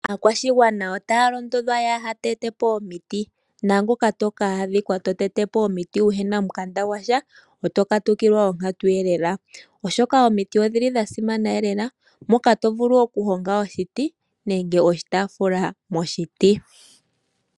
Aakwashigwana otaya londodhwa yaaha tetepo omiti, naangoka toka adhikwa to tetepo omiti wuhena omukanda gwasha oto katukilwa onkatu lela, oshoka omiti odhili dha simana lela moka to vulu oku honga oshiti nenge oshitaafula moshiti.